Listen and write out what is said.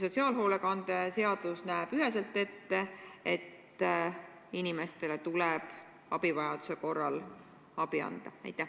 Sotsiaalhoolekande seadus näeb üheselt ette, et inimestele tuleb abi anda, kui nad abi vajavad.